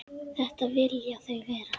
Þetta vilja þau vera.